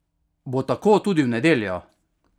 Bo tako tudi v nedeljo?